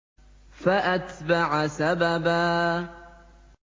فَأَتْبَعَ سَبَبًا